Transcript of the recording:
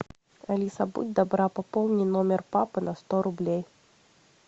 алиса будь добра пополни номер папы на сто рублей